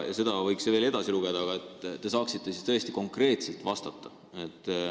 Ma võiks siit veel edasi lugeda, et te saaksite konkreetselt vastata.